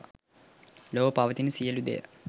ලොව පවතින සියලු දෙය